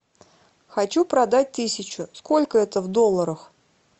хочу продать тысячу сколько это в долларах